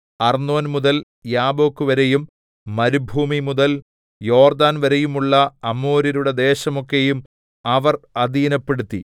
അർന്നോൻ മുതൽ യാബ്ബോക്ക്‌വരെയും മരുഭൂമിമുതൽ യോർദ്ദാൻവരെയുമുള്ള അമോര്യരുടെ ദേശം ഒക്കെയും അവർ അധീനപ്പെടുത്തി